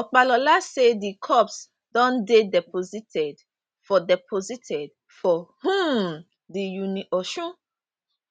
opalola say di corpse don dey deposited for deposited for um di uniosun